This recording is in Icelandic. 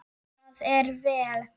Það er vel.